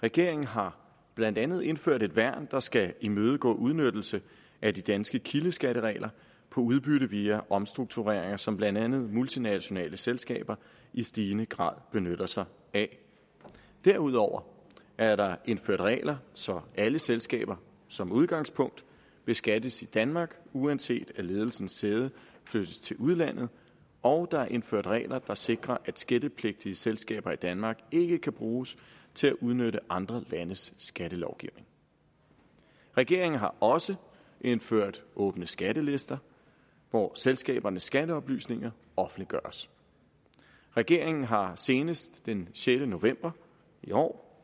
regeringen har blandt andet indført et værn der skal imødegå udnyttelse af de danske kildeskatteregler om udbytte via omstruktureringer som blandt andet multinationale selskaber i stigende grad benytter sig af derudover er der indført regler så alle selskaber som udgangspunkt beskattes i danmark uanset at ledelsens sæde flyttes til udlandet og der er indført regler der sikrer at skattepligtige selskaber i danmark ikke kan bruges til at udnytte andre landes skattelovgivning regeringen har også indført åbne skattelister hvor selskabernes skatteoplysninger offentliggøres regeringen har senest den sjette november i år